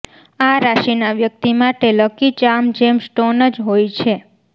આ રાશિના વ્યક્તિ માટે લકી ચાર્મ જેમ સ્ટોન જ હોય છે